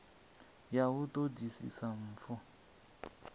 ya u ṱo ḓisisa mpfu